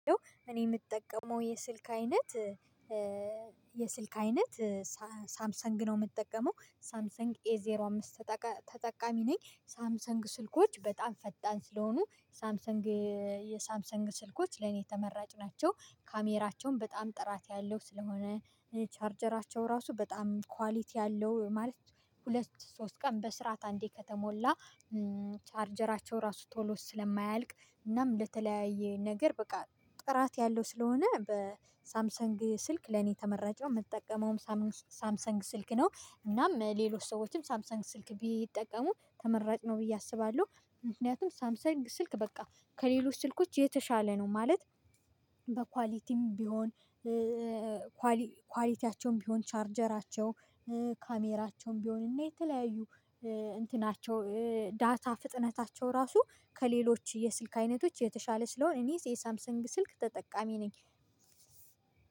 እኔ የምጠቀመው የስልክ አይነት የስልክ አይነት ሳምሰንግ ነው የምጠቀመው ሳምሰንግ ኤ ዜሮ አምስት ተጠቃሚ ነኝ። ሳምሰንግ ስልኮች በጣም ፈጣን ስለሆኑ ሳምሰንግ የሳምሰንግ ስልኮች ለኔ የተመራጭ ናቸው። ካሜራቸውም በጣም ጥራት ያለው ስለሆነ ቻርጀራቸው ራሱ በጣም ኳሊቲ አለው ማለት ሁለት ሶስት ቀን በስርዓት አንዴ ከተሞላ ቻርጀራቸው ራሱ ቶሎ ስለማያልቅ እናም ለተለያየ ነገር በቃ ጥራት ያለው ስለሆነ በሳምሰንግ ስልክ ለኔ ተመራጭ ነው። የምጠቀመውም ሳምሰንግ ስልክ ነው። እናም ሌሎች ሰዎችም ሳምሰንግ ስልክ ቢጠቀሙ ተመራጭ ነው ብዬ አስባለሁ። ምክንያቱም ሳምሰንግ ስልክ በቃ ከሌሎች ስልኮች የተሻለ ነው። ማለት በኳሊቲም ቢሆን ኳሊቲያቸውም ቢሆን ቻርጀራቸው ካሜራቸውም ቢሆንና የተለያዩ እንትናቸው ዳታ ፍጥነታቸው ራሱ ከሌሎች የስልክ አይነቶች የተሻለ ስለሆነ እኔ የሳምሰንግ ስልክ ተጠቃሚ ነኝ።